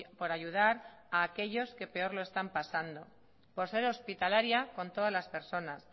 por ayudar a aquellos que peor lo están pasando por ser hospitalaria con todas las personas